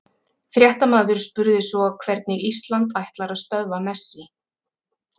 Fréttamaður spurði svo hvernig Ísland ætlar að stöðva Messi?